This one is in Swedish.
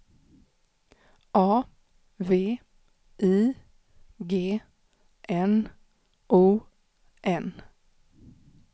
A V I G N O N